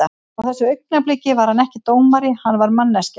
Á þessu augnabliki var hann ekki dómari, hann var manneskja.